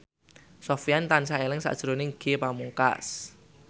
Sofyan tansah eling sakjroning Ge Pamungkas